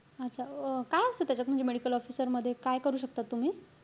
अच्छा अं काय असतं त्याच्यात? म्हणजे medical officer मध्ये काय करू शकता तुम्ही?